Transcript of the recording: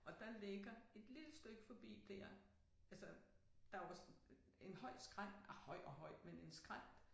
Og der ligger et lille stykke forbi dér altså der jo også en høj skrænt ah høj og høj men en skrænt